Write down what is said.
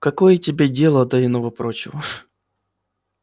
какое тебе дело до иного-прочего